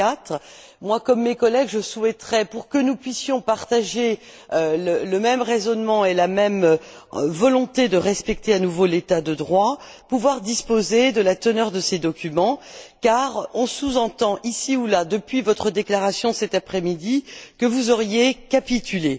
2004. Moi, comme mes collègues, je souhaiterais, pour que nous puissions partager le même raisonnement et la même volonté de respecter à nouveau l'état de droit, pouvoir disposer de la teneur de ces documents car on sous entend ici ou là, depuis votre déclaration, cet après midi, que vous auriez capitulé.